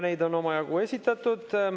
Neid on omajagu esitatud.